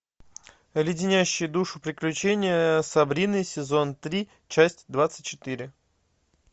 леденящие душу приключения сабрины сезон три часть двадцать четыре